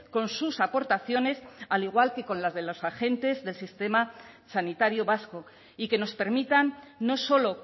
con sus aportaciones al igual que con las de los agentes del sistema sanitario vasco y que nos permitan no solo